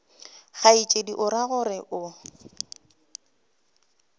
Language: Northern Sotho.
kgaetšedi o ra gore o